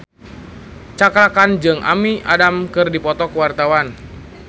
Cakra Khan jeung Amy Adams keur dipoto ku wartawan